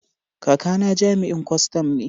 Kakana jami'in kwastan ne.